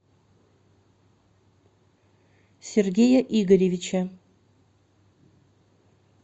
сергея игоревича